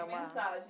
A mensagem.